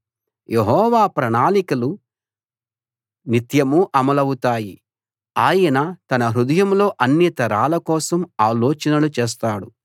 యెహోవా ప్రణాళికలు నిత్యమూ అమలవుతాయి ఆయన తన హృదయంలో అన్ని తరాల కోసం ఆలోచనలు చేస్తాడు